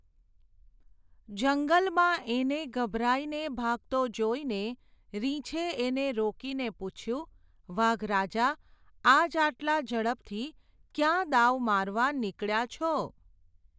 જંગલમાં એને ગભરાઈને ભાગતો જોઈને રીંછે એને રોકીને પૂછ્યું, વાઘ રાજા, આજ આટલા ઝડપથી ક્યાં દાવ મારવા નીકળ્યા છો ?.